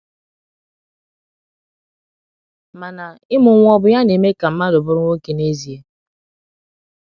Mana, ịmụ nwa ọ̀ bụ ya na eme ka mmadụ bụrụ nwoke n’ezie?